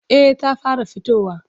Eh ta fara fitowa.